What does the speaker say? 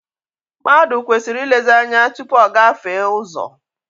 Mmadụ kwesịrị ilezi ányá tụpụ ọ gafee ụzọ.